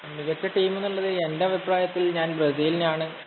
മികച്ച ടീം എന്നുള്ളത് എന്‍റെ അഭിപ്രായത്തില്‍ ഞാന്‍ ബ്രസീലിനെയാണ്